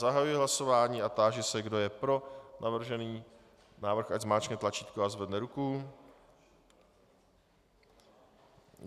Zahajuji hlasování a táži se, kdo je pro navržený návrh, ať zmáčkne tlačítko a zvedne ruku.